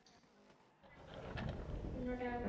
ਕਿੰਨਾ ਟੈਮ ਹੋ ਗਿਆ